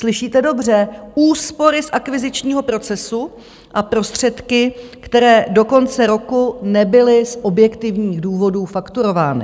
Slyšíte dobře, úspory z akvizičního procesu a prostředky, které do konce roku nebyly z objektivních důvodů fakturovány.